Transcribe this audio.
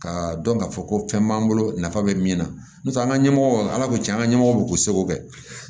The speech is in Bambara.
Ka dɔn k'a fɔ ko fɛn b'an bolo nafa bɛ min na n'o tɛ an ka ɲɛmɔgɔw ala ko cɛn an ɲɛmɔgɔ b'u seko kɛ